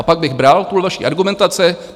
A pak bych bral tuhle vaši argumentaci.